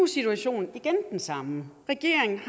situationen igen den samme regeringen